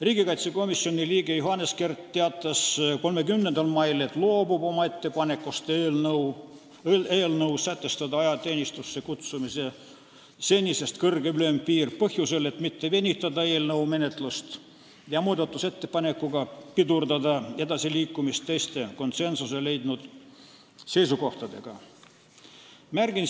Riigikaitsekomisjoni liige Johannes Kert teatas 30. mail, et loobub oma ettepanekust sätestada eelnõus senisest kõrgem ealine ülempiir ajateenistusse kutsutavatele kutsealustele põhjusel, et mitte venitada eelnõu menetlust ja muudatusettepanekuga pidurdada teiste konsensuse leidnud seisukohtadega edasiliikumist.